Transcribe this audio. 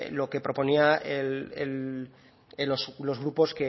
lo que proponían los grupos